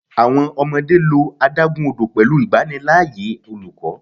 Awọn ọmọde lo adagun odo pẹlu igbanilaaye oluko